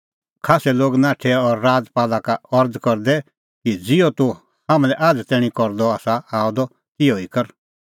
खास्सै लोग नाठै उझै और राजपाला का अरज़ करदै कि ज़िहअ तूह हाम्हां लै आझ़ तैणीं करदअ आसा आअ द तिहअ ई कर